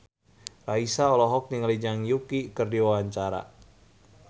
Raisa olohok ningali Zhang Yuqi keur diwawancara